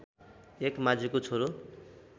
एक माझीको छोरो